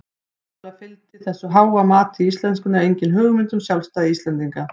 Upphaflega fylgdi þessu háa mati á íslenskunni engin hugmynd um sjálfstæði Íslendinga.